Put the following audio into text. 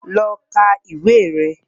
Lọ ka ìwé rẹ̀